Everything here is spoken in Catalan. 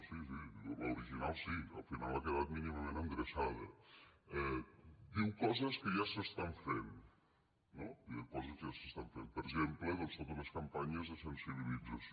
sí sí l’original sí al final ha quedat mínimament endreçada diu coses que ja s’estan fent no diu coses que ja s’estan fent per exemple doncs totes les campanyes de sensibilització